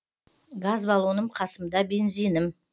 газ балоным қасымда бензинім